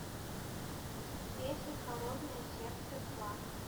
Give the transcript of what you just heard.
песни холодное сердце два